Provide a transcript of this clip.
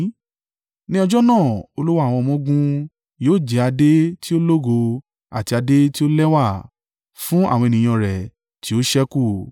Ní ọjọ́ náà Olúwa àwọn ọmọ-ogun yóò jẹ́ adé tí ó lógo, àti adé tí ó lẹ́wà fún àwọn ènìyàn rẹ̀ tí ó ṣẹ́kù.